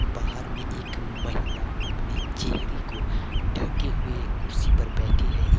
बाहर में एक महिला अपने चेहरे को ढके हुए कुर्सी पर बैठी है एव--